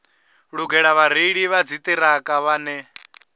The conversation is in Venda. lugela vhareili vha dziṱhirakha vhane